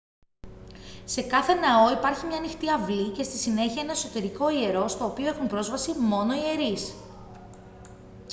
σε κάθε ναό υπάρχει μια ανοιχτή αυλή και στη συνέχεια ένα εσωτερικό ιερό στο οποίο έχουν πρόσβαση μόνο οι ιερείς